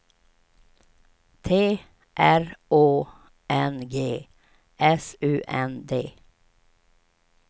T R Å N G S U N D